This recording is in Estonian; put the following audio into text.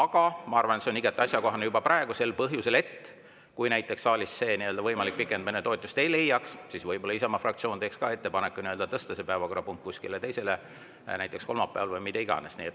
Aga ma arvan, et see on igati asjakohane juba praegu, seda sel põhjusel, et kui näiteks saalis see võimalik pikendamine toetust ei leia, siis võib-olla Isamaa fraktsioon teeb ettepaneku tõsta see päevakorrapunkt teisele, näiteks kolmapäevale, või mida iganes.